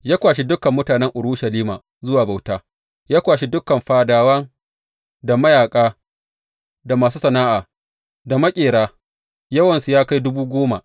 Ya kwashi dukan mutanen Urushalima zuwa bauta, ya kwashi dukan fadawa, da mayaƙa, da masu sana’a, da maƙera, yawansu ya kai dubu goma.